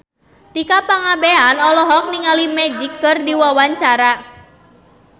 Tika Pangabean olohok ningali Magic keur diwawancara